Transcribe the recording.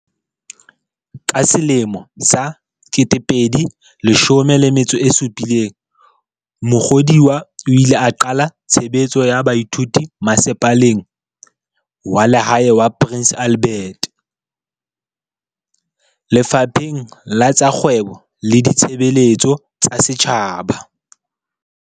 Ka selemo sa 2017 Mukhodiwa o ile a qala tshebetso ya baithuti Masepaleng wa Lehae wa Prince Albert, Lefapheng la tsa Kgwebo le Ditshebeletso tsa Setjhaba.